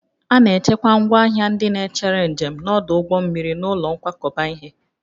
A na-echekwa ngwaahịa ndị na-echere njem n'ọdụ ụgbọ mmiri n'ụlọ nkwakọba ihe